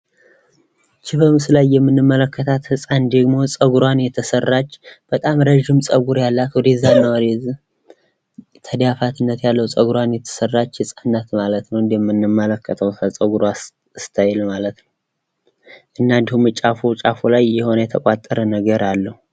ይህች በምስሉ ላይ የምንመለከታት ህፃን ደግሞ ፀጉሯን የተሰራች፣ በጣም ረጅም ፀጉር ያላት፣ ወደዛ እና ወደዚህ ተዳፋትነት ያለው ፀጉሯን የተሰራች ህፃን ናት ማለት ነው። እንደምንመለከተው ከፀጉሯ ስታይል ማለት ነው። እና ደግሞ ጫፉ ጫፉ ላይ የሆነ የተቋጠረ ነገር አለው።